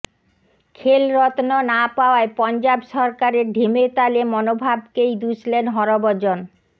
খেলরত্ন না পাওয়ায় পঞ্জাব সরকারের ঢিমেতালে মনোভাবকেই দুষলেন হরভজন